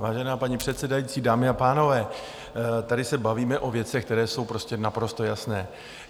Vážená paní předsedající, dámy a pánové, tady se bavíme o věcech, které jsou prostě naprosto jasné.